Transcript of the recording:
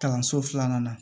Kalanso filanan na